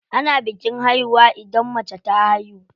Ana bikin haihuwa idan mace ta haihu.